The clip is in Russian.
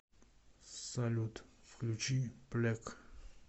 салют включи плек